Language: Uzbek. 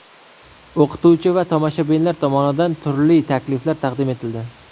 O‘qituvchi va tomoshabinlar tomonidan turli takliflar taqdim etildi.